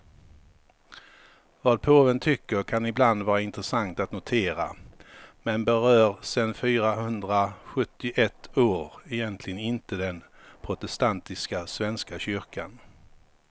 Vad påven tycker kan ibland vara intressant att notera, men berör sen fyrahundrasjuttioett år egentligen inte den protestantiska svenska kyrkan.